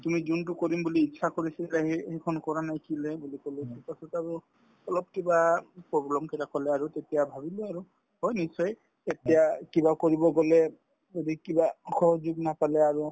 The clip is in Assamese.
তুমি যোনটো কৰিম বুলি ইচ্ছা কৰিছিলা সেই সেইখন কৰা বুলি কলো to তাৰপিছত আৰু অলপ কিবা problem কেইটা কলে আৰু তেতিয়া ভাবিলো আৰু হয় নিশ্চয় এতিয়া কিবা কৰিব গলে যদি কিবা সহযোগ নাপালে আৰু